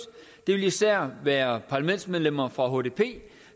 det vil især være parlamentsmedlemmer fra hdp